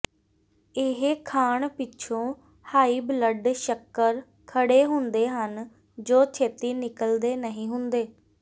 ਇਹ ਖਾਣ ਪਿੱਛੋਂ ਹਾਈ ਬਲੱਡ ਸ਼ੱਕਰ ਖੜ੍ਹੇ ਹੁੰਦੇ ਹਨ ਜੋ ਛੇਤੀ ਨਿੱਕਲਦੇ ਨਹੀਂ ਹੁੰਦੇ